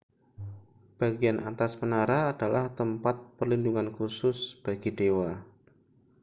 bagian atas menara adalah tempat perlindungan khusus bagi dewa